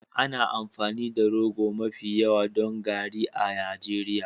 Ana amfani da rogo mafi yawa don garri a Najeriya.